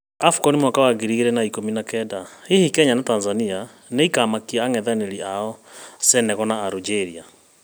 Afcon mwaka wa ngiri igĩrĩ na ikũmi na kenda: hihi kenya na Tanzania nĩikamakia ang’ethanĩri ao Senegal na algeria?